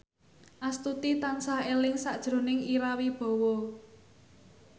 Astuti tansah eling sakjroning Ira Wibowo